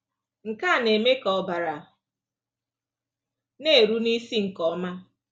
Nke a na-eme ka ọbara na-eru n’isi nke ọma.